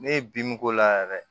Ne ye bin k'o la yɛrɛ